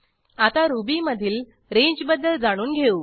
आता रुबीमधील रेंजबद्दल जाणून घेऊ